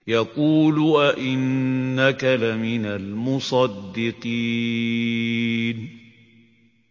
يَقُولُ أَإِنَّكَ لَمِنَ الْمُصَدِّقِينَ